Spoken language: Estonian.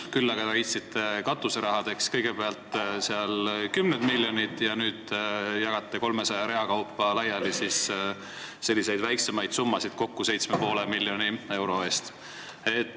Küll aga leidsite kõigepealt katuserahadeks kümneid miljoneid ja nüüd jagate 300 rea kaupa laiali väiksemaid summasid kokku 7,5 miljoni euro eest.